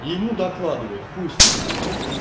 и ему докладывает хуй с ним